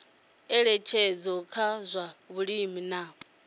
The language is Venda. ngeletshedzo kha zwa vhulimi na